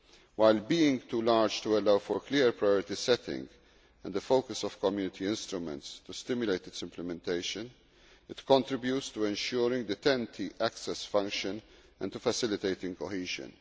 While being too large to allow for clear priority setting and the focus of Community instruments to stimulate its implementation, it contributes to ensuring the TEN T access function and to facilitating cohesion.